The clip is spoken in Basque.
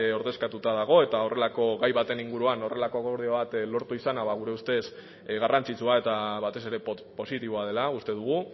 ordezkatuta dago eta horrelako gai baten inguruan horrelako akordio bat lortu izana ba gure ustez garrantzitsua eta batez ere positiboa dela uste dugu